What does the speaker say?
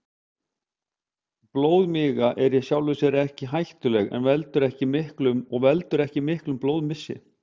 Blóðmiga er í sjálfu sér ekki hættuleg og veldur ekki miklum blóðmissi.